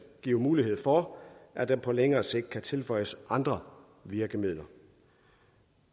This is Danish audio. giver mulighed for at der på længere sigt kan tilføjes andre virkemidler